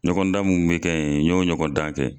Ɲɔgɔn dan minnu bɛ kɛ ye n y'o ɲɔgɔn dan kɛ.